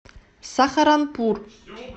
сахаранпур